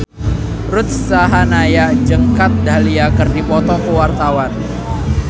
Ruth Sahanaya jeung Kat Dahlia keur dipoto ku wartawan